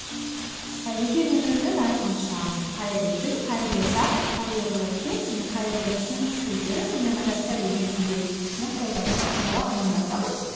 жеке мен өзім әрқашан қайырлы күн қайырлы таң қайырлы кеш және қайырлы түн сөздері сонымен қатар сәлеметсіз бе ні қолдану арқылы амандасамын